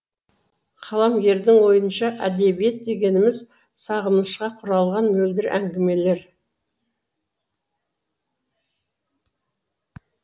қаламгердің ойынша әдебиет дегеніміз сағынышқа құрылған мөлдір әңгімелер